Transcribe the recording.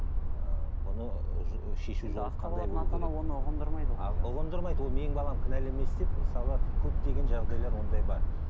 ыыы бұны шешу жағы ұғындырмайды ол менің балам кінәлі емес деп мысалы көптеген жағдайлар ондай бар